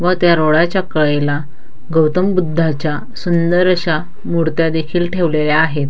व त्या रोडाच्या कडेला गौतम बुद्धाच्या सुंदर अशा मुर्त्या देखील ठेवलेल्या आहेत.